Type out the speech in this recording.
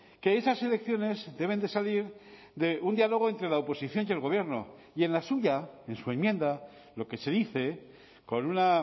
que esas elecciones deben de salir de un diálogo entre la oposición y el gobierno y en la suya en su enmienda lo que se dice con una